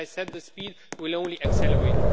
As I said, the speed will only accelerate.